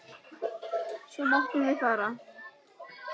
Svo máttum við fara.